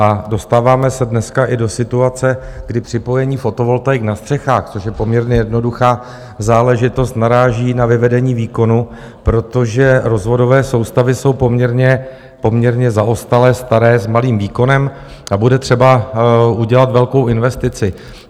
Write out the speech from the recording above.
A dostáváme se dneska i do situace, kdy připojení fotovoltaik na střechách, což je poměrně jednoduchá záležitost, naráží na vyvedení výkonu, protože rozvodové soustavy jsou poměrně zaostalé, staré, s malým výkonem a bude třeba udělat velkou investici.